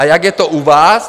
A jak je to u vás?